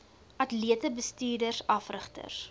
atlete bestuurders afrigters